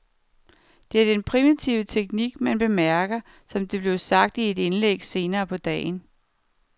Det er den primitive teknik, man bemærker, som det blev sagt i et indlæg senere på dagen.